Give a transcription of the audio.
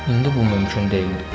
İndi bu mümkün deyildi.